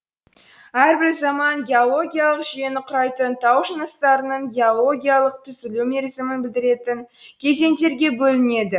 әрбір заман геологиялық жүйені құрайтын тау жыныстарының геологиялық түзілу мерзімін білдіретін кезеңдерге бөлінеді